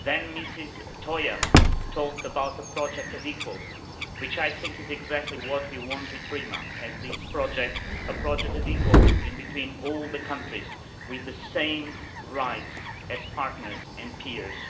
Ms Toia talked about a project of equals which is, I think, exactly what we want with PRIMA, on this project a project of equals in between all the countries with the same rights as partners and peers.